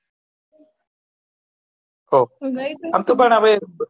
હવ એમ તો હવે હવ